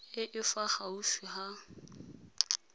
e e fa gaufi ya